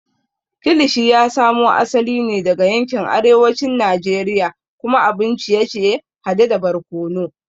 Kilishi ya samo asali ne daga yankin arewacin Najeriya kuma abun ciye-ciye hade da barkono.